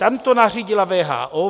Tam to nařídila WHO.